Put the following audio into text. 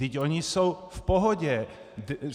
Vždyť oni jsou v pohodě.